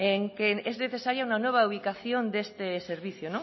en que es necesaria una nueva ubicación de este servicio